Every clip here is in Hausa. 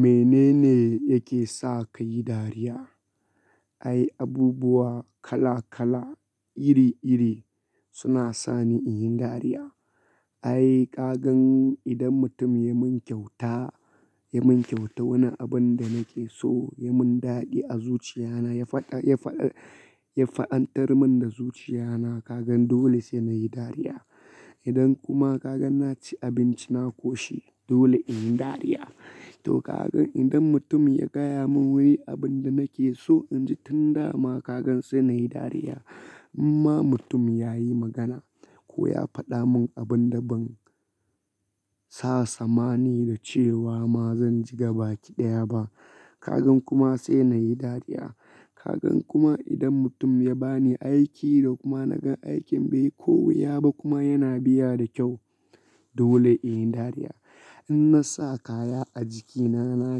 Menene yake sa ka yi dariya? Ai, abubuwa kala kala iri iri suna sa ni in yi dariya. Ai, ka gan idan mutum ya mun kyauta, ya mun kyauta wani abun da nake so, ya mun daɗi a zuciya na ya faɗa, ya faɗa, ya fa'antari mun da zuciya na, ka gan dole sai na yi dariya. Idan kuma ka gan na ci abinci na koshi dole in yi dariya. To ka gan idan mutum ya gaya mun wani abun da nake so inji tun dama ka gan sai na yi dariya. Amma mutum ya yi magana ko ya faɗa mun abun da ban sa samani da cewa ma zan ji gabaƙi ɗaya ba, ka gan kuma sai na yi dariya. Ka gan kuma idan mutum ya bani aiki da kuma na gan aikin bai yi kovi ya ba kuma yana biya da kyau dole in yi dariya. In na sa kaya a jikina na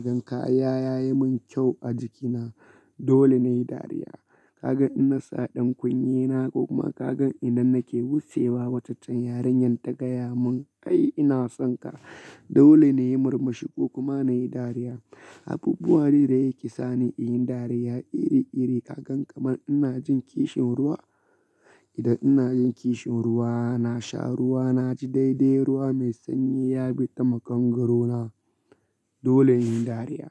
gan kaya ya yi mun kyau a jikina dole na yi dariya. Ka gan in na sa ɗan kunne na ko kuma ka gan idan nake wuce wa wacacan yaren yan daga ya mun "ai ina son ka" dole na yi murmushi ko kuma na yi dariya. Abubuwa iri iri yake sa ni in yi dariya iri iri. Ka gan kamar ina jin kishin ruwa, idan ina jin kishin ruwa na sha ruwa na ji daidai ruwa mai sanyi ya bi ta makangaro na dole in yi dariya.